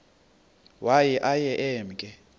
waye aye emke